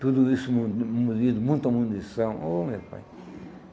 Tudo isso mu munido, muita munição. Oh meu pai